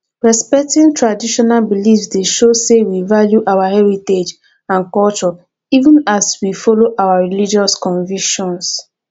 respecting traditional beliefs dey show say we value our heritage and culture even as we follow our religious convictions